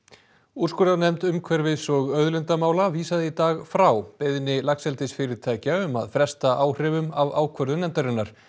úrskurðarnefnd umhverfis og auðlindamála vísaði í dag frá beiðni laxeldisfyrirtækja um að fresta áhrifum af ákvörðun nefndarinnar